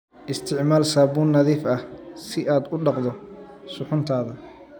Isticmaal saabuun nadiif ah si aad u dhaqdo suxuuntaada.